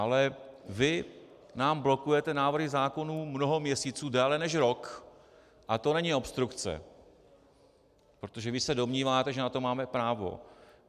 Ale vy nám blokujete návrhy zákonů mnoho měsíců, déle než rok, a to není obstrukce, protože vy se domníváte, že na to máte právo.